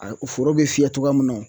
A foro bɛ fiyɛ cogoya min na